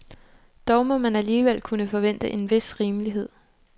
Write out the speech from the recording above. Dog må man alligevel kunne forvente en vis rimelighed.